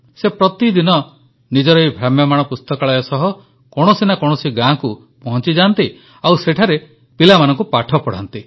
ସେ ପ୍ରତିଦିନ ନିଜର ଏହି ଭ୍ରାମ୍ୟମାଣ ପୁସ୍ତକାଳୟ ସହ କୌଣସି ନା କୌଣସି ଗାଁ କୁ ପହଂଚିଯାଆନ୍ତି ଆଉ ସେଠାରେ ପିଲାମାନଙ୍କୁ ପାଠ ପଢ଼ାନ୍ତି